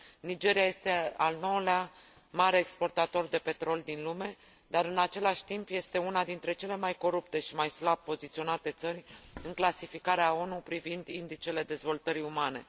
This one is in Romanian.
Nigeria este al nouălea mare exportator de petrol din lume, dar, în același timp, este una dintre cele mai corupte și mai slab poziționate țări în clasificarea ONU privind indicele dezvoltării umane.